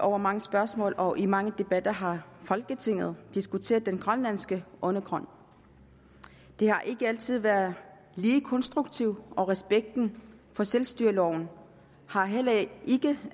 og mange spørgsmål og mange debatter har folketinget diskuteret den grønlandske undergrund det har ikke altid været lige konstruktivt og respekten for selvstyreloven har heller ikke